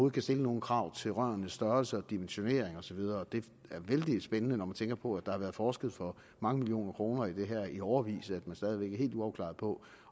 kan stille nogle krav til rørenes størrelse og dimensionering og så videre det er vældig spændende når man tænker på at der har været forsket for mange millioner kroner i det her i årevis at man stadig væk er helt uafklaret